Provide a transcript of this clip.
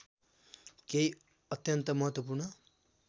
केही अत्यन्त महत्त्वपूर्ण